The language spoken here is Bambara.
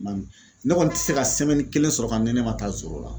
Ma min ne kɔni te se ka kelen sɔrɔ ka ne ne ma taa la.